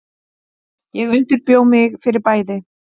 Ég undirbjó mig fyrir bæði.